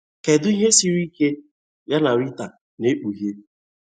Kedu ihe siri ike ya na Rita na-ekpughe?